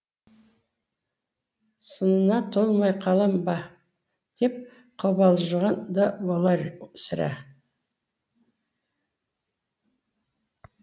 сынына толмай қалам ба деп қобалжыған да болар сірә